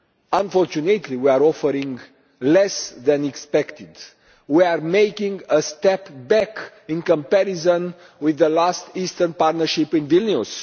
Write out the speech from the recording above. Unfortunately, we are offering less than expected. We are making a step back in comparison with the last Eastern Partnership in Vilnius.